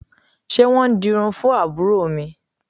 Ṣé wọn ń dirun fún àbúrò mi?